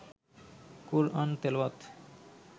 কোরআন তেলাওয়াত